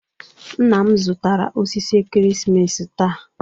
Nna m zụtara osisi ekeresimesi taa.